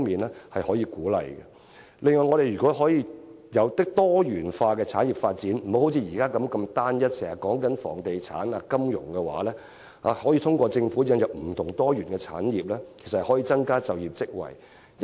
另外，如果我們能有多元化的產業發展，而非現時集中於房地產、金融等單一發展，我們便可通過政府引入不同的、多元的產業，藉此增加就業職位。